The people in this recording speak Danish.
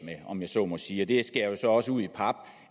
med om jeg så må sige det skærer så også ud i pap